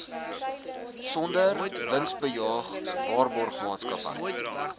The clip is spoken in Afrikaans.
sonder winsbejag waarborgmaatskappy